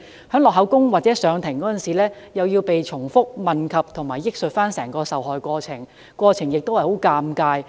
在錄取口供或上庭時，又要被重複問及和憶述整個受害過程，過程亦非常尷尬。